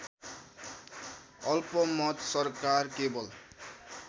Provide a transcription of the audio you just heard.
अल्पमत सरकार केवल